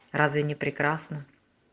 разве не прекрасно